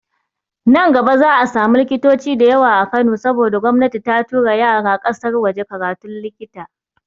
Nan gaba za'a samu likitoci da yawa a Kano saboda gomnati ta tura yara ƙasar waje karatun likita.